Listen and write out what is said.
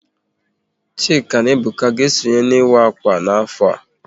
Chike na Ebuka ga-esonye n'ịwa akwa n'afọ a